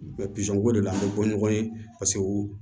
Mɛ pizɔn ko de la an bɛ bɔ ɲɔgɔn ye paseke u